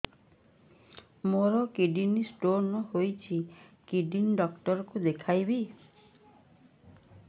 ମୋର kidney stone ହେଇଛି kidney doctor କୁ ଦେଖାଇବି